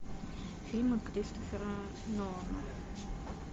фильмы кристофера нолана